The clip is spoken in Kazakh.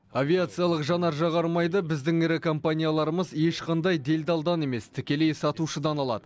авиациялық жанар жағармайды біздің ірі компанияларымыз ешқандай делдалдан емес тікелей сатушыдан алады